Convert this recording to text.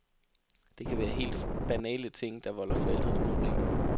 Det kan være helt banale ting, der volder forældrene problemer.